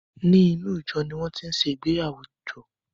Ní inú ìjo ní wọn tin ṣe ìgbéyàwó ìjọ